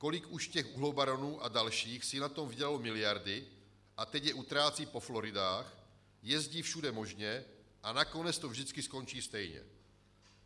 Kolik už těch uhlobaronů a dalších si na tom vydělalo miliardy a teď je utrácí po Floridách, jezdí všude možně, a nakonec to vždycky skončí stejně.